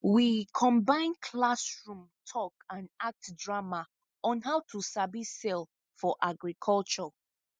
we combine classroom talk and act drama on how to sabi sell for agriculture